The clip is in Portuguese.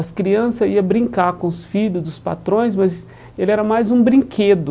As criança ia brincar com os filho dos patrões, mas ele era mais um brinquedo.